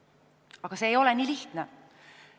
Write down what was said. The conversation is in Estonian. Aga see ei ole nii lihtne.